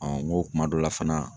n ko kuma dɔ la fana.